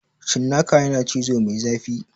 Cinnaka yana cizo mai zafi